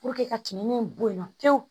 ka timinan bɔ yen nɔ pewu